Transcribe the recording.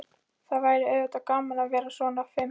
Það væri auðvitað gaman að vera svona fim.